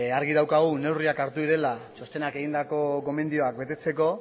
argi daukagu neurriak hartu direla txostenak egindako gomendioak betetzeko